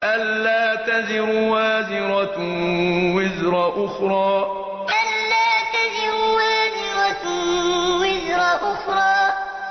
أَلَّا تَزِرُ وَازِرَةٌ وِزْرَ أُخْرَىٰ أَلَّا تَزِرُ وَازِرَةٌ وِزْرَ أُخْرَىٰ